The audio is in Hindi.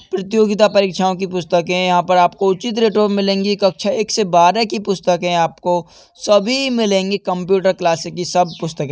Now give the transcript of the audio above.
प्रतियोगिता परीक्षाओ की पुस्तके हैं। यहां पर आपको उचित रेटों में मिलेगी। कक्षा एक से बारह की पुस्तके आपको सभी मिलेंगी कंप्युटर क्लासेस की सब पुस्तके।